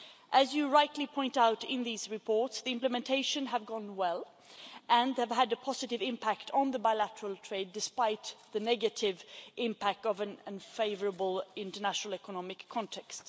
As you rightly point out in these reports, implementation has gone well and they have had a positive impact on bilateral trade despite the negative impact of an unfavourable international economic context.